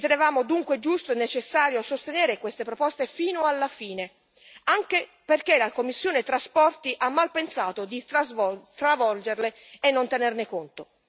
Ritenevamo dunque giusto e necessario sostenere queste proposte fino alla fine, anche perché la commissione TRAN ha mal pensato di stravolgerle e di non tenerne conto.